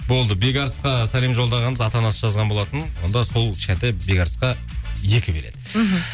болды бекарысқа сәлем жолдағанбыз ата анасы жазған болатын онда сол кішкентай бекарысқа екі билет мхм